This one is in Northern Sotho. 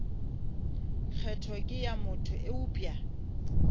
kgetho ke ya motho eupša